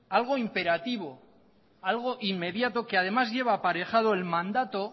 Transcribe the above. algo imperativo algo inmediato que además lleva aparejado el mandato